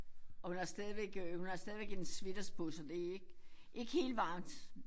Og hun har stadigvæk øh hun har stadigvæk en sweaters på så det er ikke ikke helt varmt